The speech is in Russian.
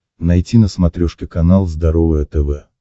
найти на смотрешке канал здоровое тв